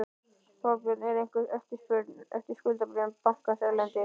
Þorbjörn: Er einhver eftirspurn eftir skuldabréfum bankans erlendis?